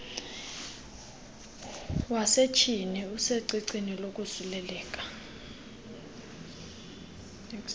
wasetyhini usecicini lokosuleleka